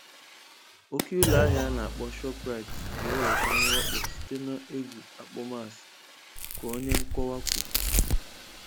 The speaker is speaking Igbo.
Oke ụlọahịa ana akpo Shop rite ga-enweta mwakpo site n'egwu akpọmasị, ka onye nkọwa kwuru